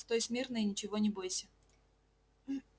стой смирно и ничего не бойся